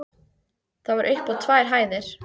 Það var upp á tvær hæðir.